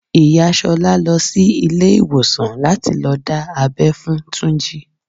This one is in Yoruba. Ìyá Ṣolá lọ sí ilé ìwòsàn láti lọ dá abẹ́ fún Túnjí.